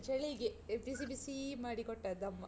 ಅದು ಚಳಿಗೆ, ಬಿಸಿ ಬಿಸೀ ಮಾಡಿ ಕೊಟ್ಟದ್ದ್ ಅಮ್ಮ.